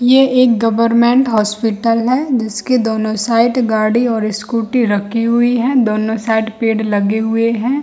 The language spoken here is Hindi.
ये एक गवर्नमेंट हॉस्पिटल है जिसके दोनों साइड गाड़ी और स्कूटी रखी हुईं हैं दोनों साइड पेड लगे हुए हैं ।